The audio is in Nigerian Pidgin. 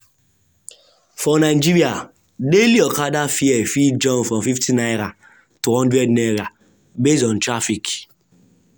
for nigeria daily okada fare fit jump from ₦50 to ₦100 based on traffic. on traffic.